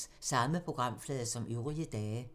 Samme programflade som øvrige dage